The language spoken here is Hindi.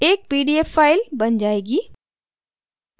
एक pdf file बन जाएगी